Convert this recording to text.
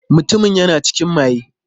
Mutumin yana cikin maye.